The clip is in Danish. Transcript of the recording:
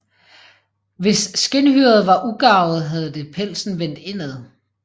Hvis skindhyret var ugarvet havde det pelsen vendt indad